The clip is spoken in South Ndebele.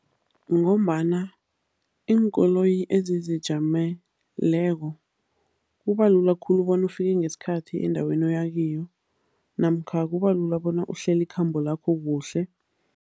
Ngombana iinkoloyi ezizijameleko kubalula khulu bona ufike ngesikhathi endaweni oyakiyo namkha kubalula bona uhlele ikhambo lakho kuhle.